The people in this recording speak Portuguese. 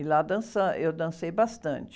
E lá dança, eu dancei bastante.